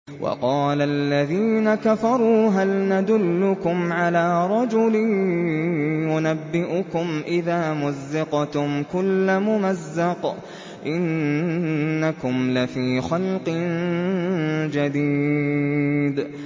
وَقَالَ الَّذِينَ كَفَرُوا هَلْ نَدُلُّكُمْ عَلَىٰ رَجُلٍ يُنَبِّئُكُمْ إِذَا مُزِّقْتُمْ كُلَّ مُمَزَّقٍ إِنَّكُمْ لَفِي خَلْقٍ جَدِيدٍ